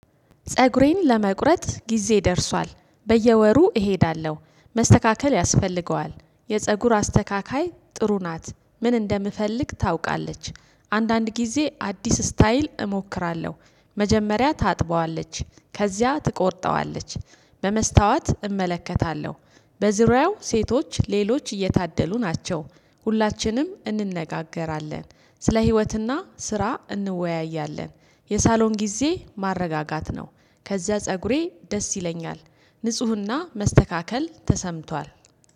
ፀጉሬን ለመቁረጥ ጊዜ ደርሷል በየወሩ እሄዳለሁ መስተካከል ያስፈልገዋል። የፀጉር አስተካካይ ጥሩ ናት ምን እንደምፈልግ ታውቃለች። አንዳንድ ጊዜ አዲስ ስታይል እሞክራለሁ። መጀመሪያ ታጥበዋለች ከዚያ ትቆርጠዋለች። በመስታወት እመለከታለሁ። በዙሪያው ሴቶች ሌሎች እየታደሉ ናቸው። ሁላችንም እንነጋገራለን ስለ ህይወትና ስራ እንወያያለን። የሳሎን ጊዜ ማረጋጋት ነው። ከዚያ ፀጉሬ ደስ ይለኛል። ንፁህና መስተካከል ተሰምቷል